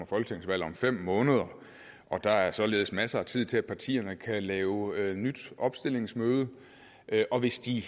folketingsvalg om fem måneder og der er således masser af tid til at partierne kan lave et nyt opstillingsmøde og hvis de